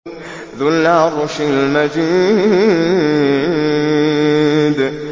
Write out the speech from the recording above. ذُو الْعَرْشِ الْمَجِيدُ